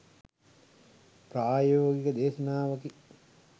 ප්‍රායෝගික දේශනාවකි